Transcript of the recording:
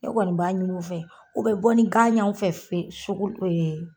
Ne kɔni b'a ɲin'u fɛ, u be bɔ ni gan ɲ'anw fɛ f fe sugu